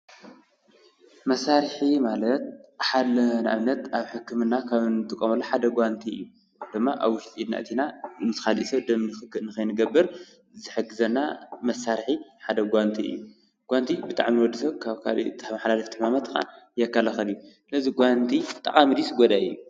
መሳርሒ ማለት ንኣብነት ኣብ ሕክምና እንጥቀመሉ ሓደ ጓንቲ እዩ፡፡ ጓንቲ ድማ ኣብ ውሽጢ ኢድና ኣእቲና ምስ ካሊእ ሰብ ደም ንክክእ ንከይንገብር ዝሕግዘና መሳርሒ ሓደ ጓንቲ እዩ፡፡ ጓንቲ ብጣዕሚ ንወዲሰብ ካብ ተመሓላለፍቲ ይከላኸል እዩ፡፡ እዚ ጓንቲ እዚ ጠቃሚ ድዩስ ጎዳኢ?